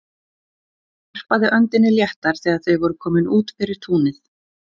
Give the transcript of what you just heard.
Hún varpaði öndinni léttar þegar þau voru komin út fyrir túnið.